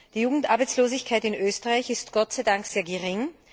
Die Jugendarbeitslosigkeit in Österreich ist, Gott sei Dank, sehr gering.